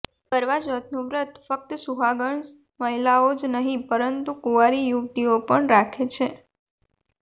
કરવા ચોથનું વ્રત ફક્ત સુહાગણ મહિલાઓ જ નહીં પરંતુ કુવારી યુવતિઓ પણ રાખે છે